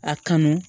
A kanu